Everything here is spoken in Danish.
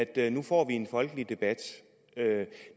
at nu får vi en folkelig debat